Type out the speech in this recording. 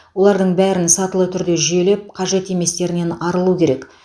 олардың бәрін сатылы түрде жүйелеп қажет еместерінен арылу керек